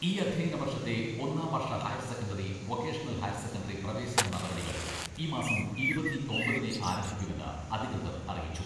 ഈ അധ്യയന വർഷത്തെ ഒന്നാം വർഷ higher secondary, vocational higher secondary പ്രവേശന നടപടികൾ ഈ മാസം ഇരുപത്തിയൊമ്പതിനേ ആരംഭിക്കൂവെന്ന് അധികൃതർ അറിയിച്ചു.